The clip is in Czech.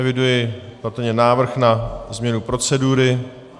Eviduji patrně návrh na změnu procedury.